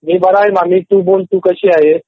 मी बरा आहे मामी तू सांग तू कशी आहेस?